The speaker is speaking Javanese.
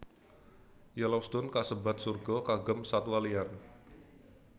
Yellowstone kasebat surga kagem satwa liar